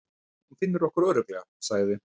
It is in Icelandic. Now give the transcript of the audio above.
Hún finnur okkur örugglega, sagði